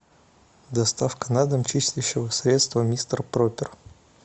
доставка на дом чистящего средства мистер пропер